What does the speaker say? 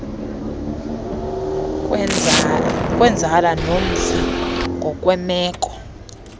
kwenzala nomfi ngokwemeko